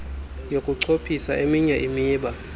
yokunciphisa eminye imiba